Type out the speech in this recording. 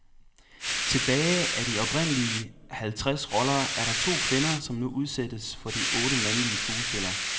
Tilbage af de oprindelige halvtreds roller er der to kvinder, som nu udsættes for de otte mandlige skuespillere.